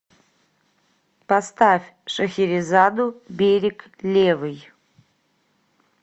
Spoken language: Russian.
поставь шахерезаду берег левый